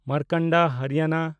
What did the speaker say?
Markanda Haryana